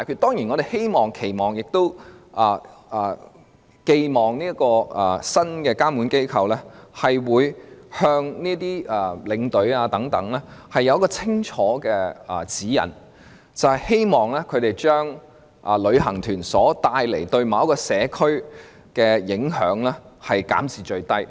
當然，我們希望這個新的監管機構，可以向領隊發出清楚的指引，將旅行團對社區的影響減至最低。